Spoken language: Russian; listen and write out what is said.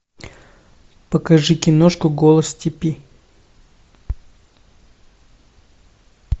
покажи киношку голос степи